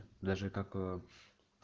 даже как